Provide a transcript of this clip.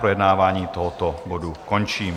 Projednávání tohoto bodu končím.